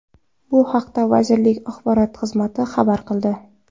Bu haqda vazirlik axborot xizmati xabar qildi .